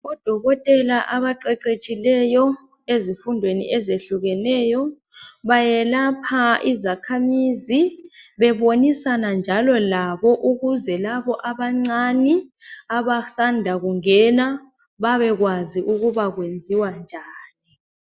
Odokotela abaqeqetshileyo ezifundweni ezifundweni ezehlukeneyo bayelapha izakhamizi bebonisana njalo labo ukuzelabo abancani abasanda kungena babekwazi ukubakwenziwa njani